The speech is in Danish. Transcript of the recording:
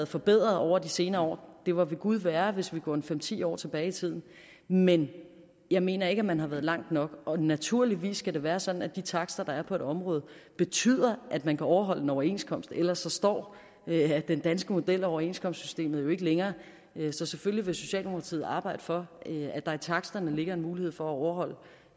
forbedret over de senere år det var ved gud værre hvis vi går fem ti år tilbage i tiden men jeg mener ikke at man er nået langt nok naturligvis skal det være sådan at de takster der er på området betyder at man kan overholde en overenskomst ellers består den danske model og overenskomstsystemet jo ikke længere så selvfølgelig vil socialdemokratiet arbejde for at der i taksterne ligger en mulighed for at overholde